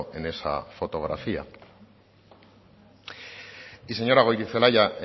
en esa fotografía y señora goirizelaia